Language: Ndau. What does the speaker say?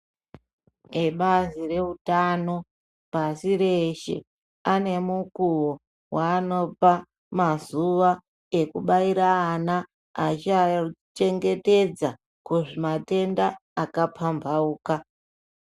Ebazi reutano pasi reshe ane mukuwo waanopa mazuwa ekubaire ana ashaichengetedza kuzvimatenda akapamhauka.